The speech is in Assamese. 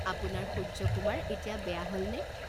আপোনাৰ সূৰ্য্য কুমাৰ এতিয়া বেয়া হলনে?